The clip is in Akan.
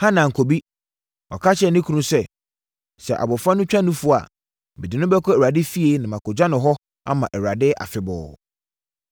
Hana ankɔ bi. Ɔka kyerɛɛ ne kunu sɛ, “Sɛ abɔfra no twa nufoɔ a, mede no bɛkɔ Awurade fie na makɔgya no hɔ ama Awurade afebɔɔ.”